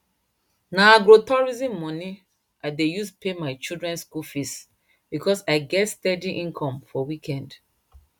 na agrotourism money i dey use pay my children school fees because i get steady income for weekend